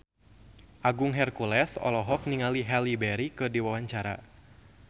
Agung Hercules olohok ningali Halle Berry keur diwawancara